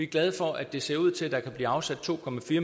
glade for at det ser ud til at der kan blive afsat to